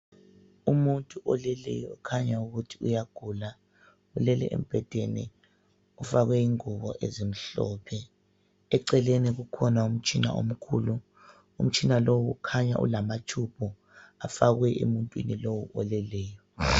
Umuntu oleleyo okhanya ukuthi uyagula ulele embhedeni. Ufakwe ingubo ezimhlophe. Eceleni kukhona umtshina omkhulu. Umtshina lowu ukhanya ulama tube afakwe emuntwini lowo oleleyo.